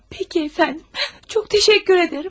Peki əfəndim, çox təşəkkür edirəm.